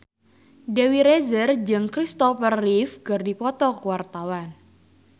Dewi Rezer jeung Kristopher Reeve keur dipoto ku wartawan